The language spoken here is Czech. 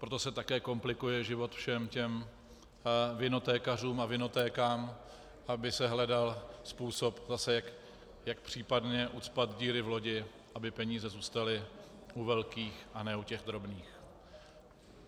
Proto se také komplikuje život všem těm vinotékařům a vinotékám, aby se hledal způsob zase, jak případně ucpat díry v lodi, aby peníze zůstaly u velkých a ne u těch drobných.